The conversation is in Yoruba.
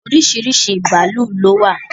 Oríṣiríṣi bàálù ló wà